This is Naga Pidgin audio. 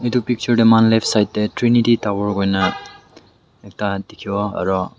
itu picture tey muihan left side tey trinity tower kuina ekta dikhiwo aro--